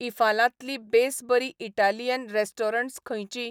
इंफालांतलीं best बरीं Italian restaurants खंयचीं?